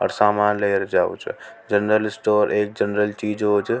सामान लें जाओ छ जनरल स्टोर ए जनरल चीज़ होव छ।